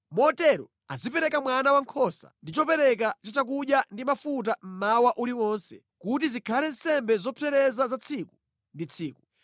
Motero azipereka mwana wankhosa ndi chopereka cha chakudya ndi mafuta mmawa uliwonse kuti zikhale nsembe zopsereza za tsiku ndi tsiku.